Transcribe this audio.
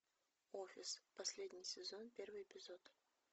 офис последний сезон первый эпизод